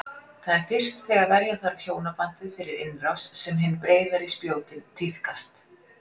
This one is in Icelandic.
Það er fyrst þegar verja þarf hjónabandið fyrir innrás sem hin breiðari spjótin tíðkast.